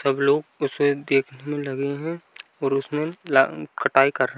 सब लोग उसे देखने में लगे हैं ओर उसमें ला कटाई कर --